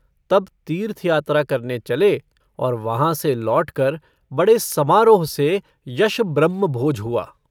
तब तीर्थयात्रा करने चले और वहाँ से लौटकर बड़े समारोह से यश ब्रह्मभोज हुआ।